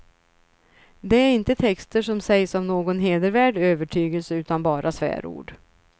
Det är inte texter som sägs av någon hedervärd övertygelse utan bara svärord.